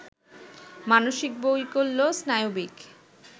মানসিক বৈকল্য, স্নায়বিক